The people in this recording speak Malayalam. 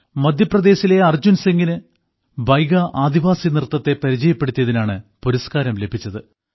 മധ്യപ്രദേശിലെ അർജൻസിംഗിന് ബൈഗാ ആദിവാസി നൃത്തത്തെ പരിചയപ്പെടുത്തിയതിനാണ് പുരസ്കാരം ലഭിച്ചത്